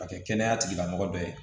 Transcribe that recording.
Ka kɛ kɛnɛya tigilamɔgɔ ye